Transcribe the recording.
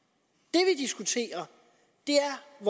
nu er